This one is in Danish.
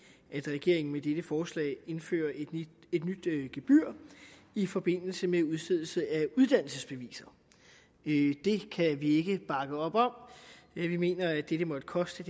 regeringen med dette forslag indførte et nyt gebyr i forbindelse med udstedelse af uddannelsesbeviser det kan vi ikke bakke op om vi mener at det det måtte koste